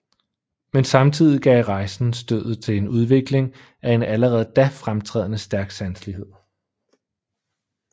Men samtidig gav rejsen stødet til udvikling af en allerede da fremtrædende stærk sanselighed